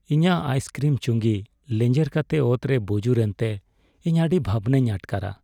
ᱤᱧᱟᱹᱜ ᱟᱭᱤᱥᱠᱨᱤᱢ ᱪᱩᱸᱜᱤ ᱞᱮᱡᱮᱨ ᱠᱟᱛᱮ ᱚᱛᱨᱮ ᱵᱩᱡᱩᱨ ᱮᱱᱛᱮ ᱤᱧ ᱟᱹᱰᱤ ᱵᱷᱟᱵᱽᱱᱟᱧ ᱟᱴᱠᱟᱨᱟ ᱾᱾